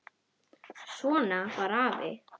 Svona var afi.